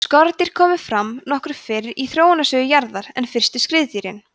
skordýr komu fram nokkuð fyrr í þróunarsögu jarðar en fyrstu skriðdýrin